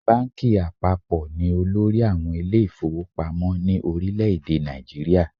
Báńkì àpapọ̀ ni olórí àwọn ilé ìfowópamọ́ ní orílẹ̀ èdè Nàìjíríà.